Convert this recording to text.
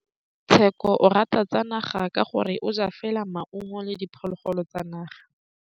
Tshekô o rata ditsanaga ka gore o ja fela maungo le diphologolo tsa naga.